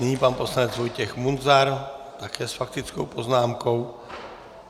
Nyní pan poslanec Vojtěch Munzar, také s faktickou poznámkou.